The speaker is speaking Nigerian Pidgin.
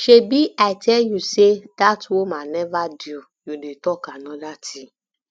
shebi i tell you say dat woman never due you dey talk another thing